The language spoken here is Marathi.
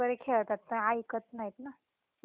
हम्म नाही ऐकत ना हे ते तेच तर.